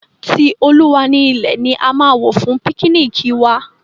Ti Olúwa ni ilẹ̀ ni a máa wò fún píknìkì wa.